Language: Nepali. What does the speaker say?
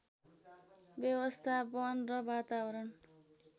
व्यवस्था वन र वातावरण